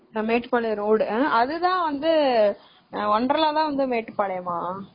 Mettupalayam road அதுதான் வந்து தான் wonderla வந்து மேட்டுப்பாளையம்மா?